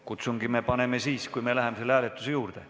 Kutsungi paneme kõlama siis, kui läheme hääletuse juurde.